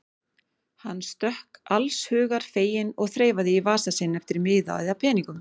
Hann stökk inn allshugar feginn og þreifaði í vasa sinn eftir miða eða peningum.